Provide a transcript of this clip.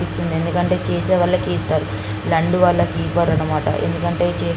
ఎందుకు అంటే చేసే వాళ్ళకి ఇస్తారు ఇలాంటి వాళ్ళకి ఇవ్వరు ఎందుకంటె --